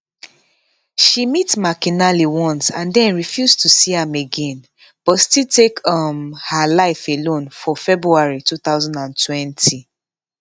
she meet mcinally once and den refuse to see am again but still take um her life alone for february 2020